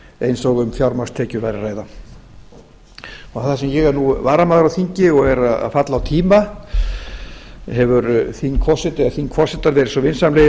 eins og um fjámagnstekjur væri að ræða þar sem ég er nú varamaður á þingi og er að falla á tíma hafa þingforsetar verið svo vinsamlegir